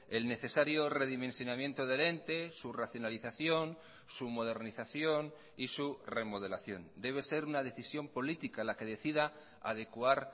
el necesario redimensionamiento del ente su racionalización su modernización y su remodelación debe ser una decisión política la que decida adecuar